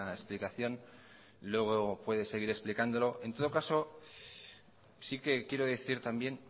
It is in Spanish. explicación luego puede seguir explicándolo en todo caso sí que quiero decir también